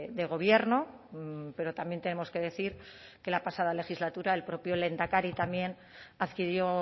de gobierno pero también tenemos que decir que la pasada legislatura el propio lehendakari también adquirió